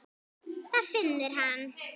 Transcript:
Það finnur hann.